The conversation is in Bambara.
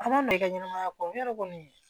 An ma don i ka ɲɛnɛmaya kɔnɔ yɔrɔ kɔni